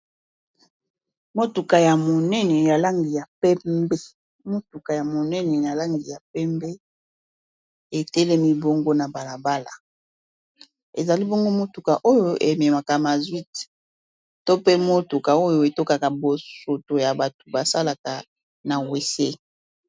Motuka ya monene ya langi ya pembe etelemi bongo na balabala ezali bongo motuka oyo ememaka masuite to pe motuka oyo etokaka bosoto ya bato basalaka na wc.